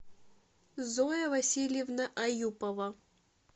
зоя васильевна аюпова